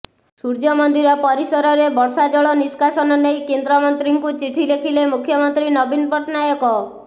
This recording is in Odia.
ସୂର୍ଯ୍ୟମନ୍ଦିର ପରିସରରେ ବର୍ଷାଜଳ ନିଷ୍କାସନ ନେଇ କେନ୍ଦ୍ରଙ୍କୁ ଚିଠି ଲେଖିଲେ ମୁଖ୍ୟମନ୍ତ୍ରୀ ନବୀନ ପଟ୍ଟନାୟକ